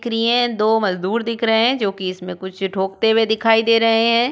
दिख रही है। दो मजदूर दिख रहे हैं जो कि इसमें कुछ ठोकते हुए दिखाई दे रहे हैं।